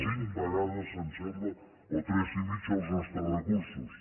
cinc vegades em sembla o tres i mitja els nostres recursos